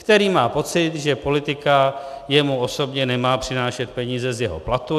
Který má pocit, že politika jemu osobně nemá přinášet peníze z jeho platu.